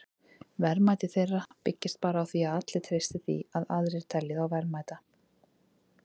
Verðmæti þeirra byggist bara á því að allir treysti því að aðrir telji þá verðmæta.